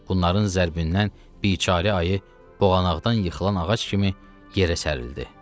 Bunların zərbindən biçare ayı boğanaqdan yıxılan ağac kimi yerə sərildi.